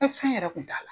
fɛn yɛrɛ kun t'a la